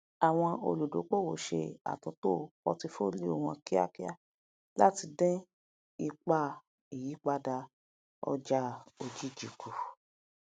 àwọn olùdókòwò ṣe àtúntò portfolio wọn kíákíá lati dín ipá ìyípadà ọjà òjijì ku